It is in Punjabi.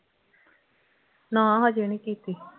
ਨਾ ਹਜੇ ਨਹੀਂ ਕੀਤੀ